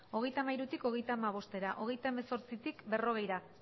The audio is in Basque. hogeita hamairutik hogeita hamabostera hogeita hemezortzitik berrogeira